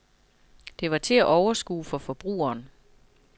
Det var til at overskue for forbrugeren.